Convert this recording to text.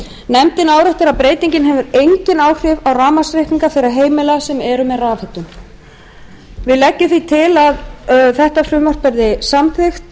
nefndin áréttar að breytingin hefur engin áhrif á rafmagnsreikninga þeirra heimila sem eru með rafhitun við leggjum því til að þetta frumvarp verði samþykkt